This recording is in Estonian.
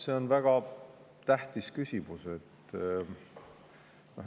See on väga tähtis küsimus.